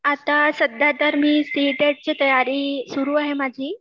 आता सध्यातर मी सी टेट ची तयारी सुरू आहे माझी